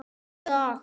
Með hennar aðild.